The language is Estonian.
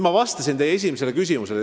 Ma vastasin teie esimesele küsimusele.